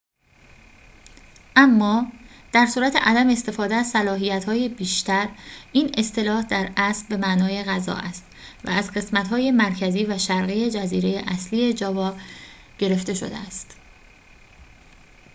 اما در صورت عدم استفاده از صلاحیت‌های بیشتر این اصطلاح در اصل به معنای غذا است و از قسمت های مرکزی و شرقی جزیره اصلی جاوا گرفته شده است